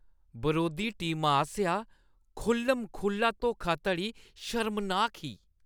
बरोधी टीमा आसेआ खु'ल्ल-म-खु'ल्ला धोखाधड़ी शर्मनाक ही ।